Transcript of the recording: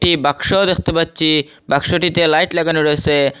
একটি বাক্সও দেখতে পাচ্ছি বাক্সটিতে লাইট লাগানো রয়েছে।